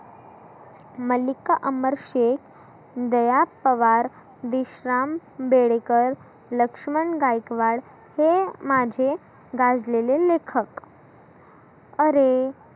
मल्लीका अमर शेख, दया पवार, विश्राम बेडेकर, लक्ष्मण गायकवाड हे माझे गाजलेले लेखक. आरे